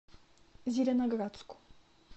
зеленоградску